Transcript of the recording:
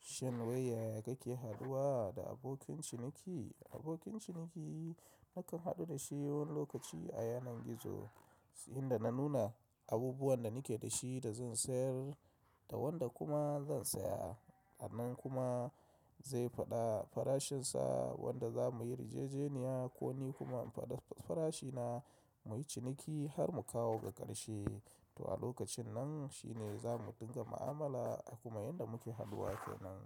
Shin yaya kake haduwa da abokin ciniki? Abokin ciniki nakan haɗu da shi wani lokaci a yanar gizo inda na nuna abubuwan da nake da shi da zan sayar da wanda kuma zan saya. Anan kuma zai faɗa farashinsa wadda za mu yi yarjajeniya ko ni kuma in faɗa farashina mu yi ciniki har mu kawo ga ƙarshe. To a lokacin nan shi ne za mu dinga ma'amala a kuma inda muke haduwa ko nan